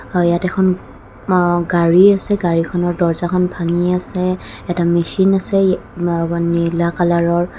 আৰু ইয়াত এখন গাড়ী আছে গাড়ীখনৰ দৰ্জাখন ভাঙি আছে এটা মেচিন আছে মা নীলা কালৰৰ।